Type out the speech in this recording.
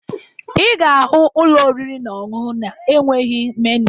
Ị ga-ahụ ụlọ oriri na ọṅụṅụ na-enweghi meniu